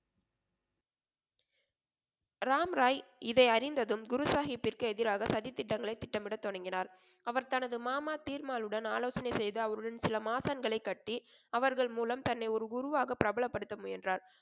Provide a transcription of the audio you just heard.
ராம்ராய் இதை அறிந்ததும் குருசாகிப்பிற்கு எதிராக சதித்திட்டங்களை திட்டமிடத் தொடங்கினார். அவர் தனது மாமா தீர்மாலுடன் ஆலோசனை செய்து அவருடன் சில மாசங்களைக் கட்டி, அவர்கள் மூலம் தன்னை ஒரு குருவாக பிரபலப்படுத்த முயன்றார்.